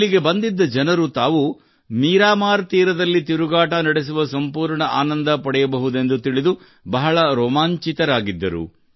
ಇಲ್ಲಿಗೆ ಬಂದಿದ್ದ ಜನರು ತಾವು ಮೀರಾಮಾರ್ ತೀರದಲ್ಲಿ ತಿರುಗಾಟ ನಡೆಸುವ ಸಂಪೂರ್ಣ ಆನಂದ ಪಡೆಯಬಹುದೆಂದು ತಿಳಿದು ಬಹಳ ರೋಮಾಂಚಿತರಾಗಿದ್ದರು